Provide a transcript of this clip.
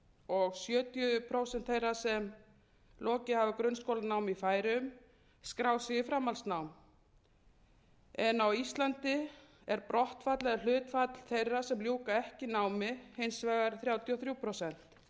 og sjötíu prósent þeirra sem lokið hafa grunnskólanámi í færeyjum skrá sig í framhaldsnám á íslandi er brottfall eða hlutfall þeirra sem ljúka ekki námi hins vegar um þrjátíu og